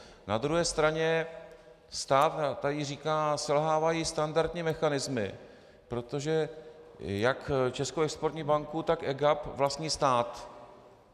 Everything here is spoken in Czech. Na druhé straně stát tady říká: selhávají standardní mechanismy, protože jak Českou exportní banku, tak EGAP vlastní stát.